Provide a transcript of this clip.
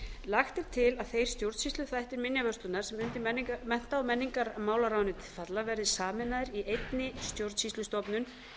lagt er til að þeir stjórnsýsluþættir minjavörslunnar sem undir mennta og menningarmálaráðuneytið falla verði sameinaðir í einni stjórnsýslustofnun